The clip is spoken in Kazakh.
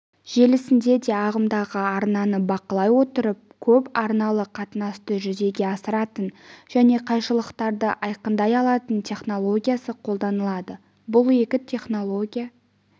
желісінде де ағымдағы арнаны бақылай отырып көп арналы қатынасты жүзеге асыратын және қайшылықтарды айқындай алатын технологиясы қолданылады бұл екі технология